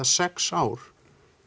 sex ár